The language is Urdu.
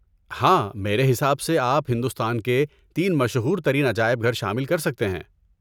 ہاں! میرے حساب سے آپ ہندوستان کے تین مشہور ترین عجائب گھر شامل کر سکتے ہیں۔